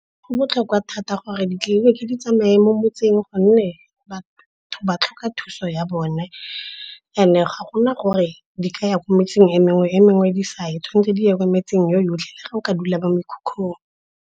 Go botlhokwa thata gore ditleliniki di tsamaye mo motseng gonne batho ba tlhoka thuso ya bone. And-e ga go na gore di ka ya ko metseng e mengwe, e mengwe di sa ye. Tshwanetse di ye ko metseng yotlhe, le ga o ka dula ko mekhukhung.